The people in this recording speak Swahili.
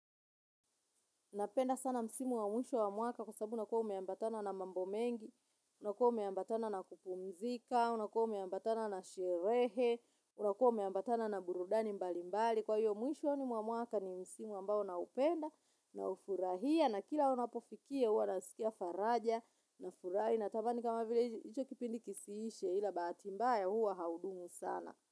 Napenda sana msimu wa mwisho wa mwaka kwa sababu unakua umeambatana na mambo mengi, unakua umeambatana na kupumzika, unakua umeambatana na sherehe, unakua umeambatana na burudani mbalimbali. Kwa hiyo mwishoni mwa mwaka ni msimu ambao naupenda naufurahia na kila unapofikia uwa nasikia faraja nafurahi natamani kama vile hicho kipindi kisiishe ila bahati mbaya huwa haudumu sana.